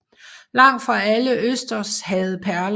Langt fra alle østers havde perler